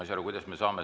Vabandust!